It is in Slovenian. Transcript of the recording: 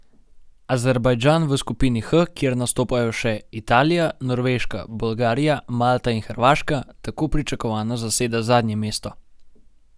Azerbajdžan v skupini H, kjer nastopajo še Italija, Norveška, Bolgarija, Malta in Hrvaška, tako pričakovano zaseda zadnje mesto.